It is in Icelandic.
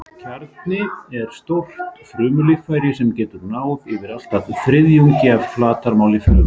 Kjarni er stórt frumulíffæri sem getur náð yfir allt að þriðjung af flatarmáli frumu.